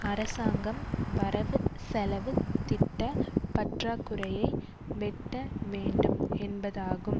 அரசாங்கம் வரவு செலவு திட்ட பற்றாக்குறையை வெட்ட வேண்டும் என்பதாகும்